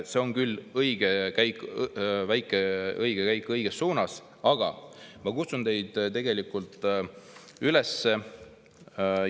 See on küll õige käik, väike õige käik õiges suunas, aga ma kutsun teid tegelikult üles.